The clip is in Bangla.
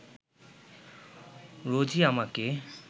রোজই আমাকে